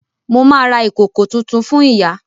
Mo ma ra ìkòkò tuntun fún ìyá